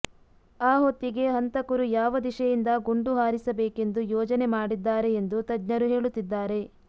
ಆ ಹೊತ್ತಿಗೇ ಹಂತಕರು ಯಾವ ದಿಶೆಯಿಂದ ಗುಂಡು ಹಾರಿಸಬೇಕೆಂದು ಯೋಜನೆ ಮಾಡಿದ್ದಾರೆ ಎಂದು ತಜ್ಞರು ಹೇಳುತ್ತಿದ್ದಾರೆ